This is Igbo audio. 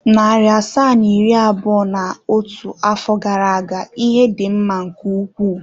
Narị asaa na iri abụọ na otu afọ gara aga ihe dị mma nke ukwuu.